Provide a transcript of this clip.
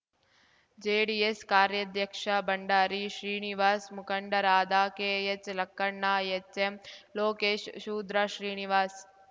JDS ಕಾರ್ಯಾಧ್ಯಕ್ಷ ಭಂಡಾರಿ ಶ್ರೀನಿವಾಸ್‌ ಮುಖಂಡರಾದ K H Lakkanna H M Lokesh Shudra Srinivas